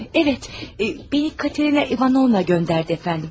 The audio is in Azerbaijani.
Hə, evət, məni Katerina İvanovna göndərdi əfəndim.